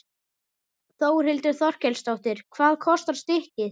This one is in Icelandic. Þórhildur Þorkelsdóttir: Hvað kostar stykkið?